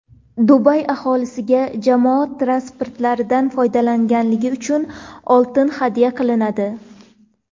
Dubay aholisiga jamoat transportlaridan foydalangani uchun oltin hadya qilinadi.